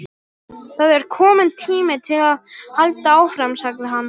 Það er kominn tími til að halda áfram sagði hann.